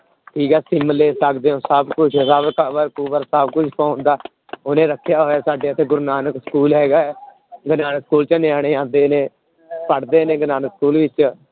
ਠੀਕ ਹੈ ਸਿਮ ਲੈ ਸਕਦੇ ਹੋ ਸਭ ਕੁਛ ਸਭ ਕੁਛ ਪਾਉਂਦਾ ਉਹਨੇ ਰੱਖਿਆ ਹੋਇਆ, ਸਾਡੇ ਇੱਥੇ ਗੁਰੂ ਨਾਨਕ school ਹੈਗਾ ਹੈ ਗੁਰੂ ਨਾਨਕ school ਚ ਨਿਆਣੇ ਆਉਂਦੇ ਨੇ ਪੜ੍ਹਦੇ ਨੇ ਗੁਰੂ ਨਾਨਕ school ਵਿੱਚ।